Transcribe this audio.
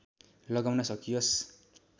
लगाउन सकियोस्